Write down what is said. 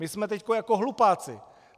My jsme teď jako hlupáci!"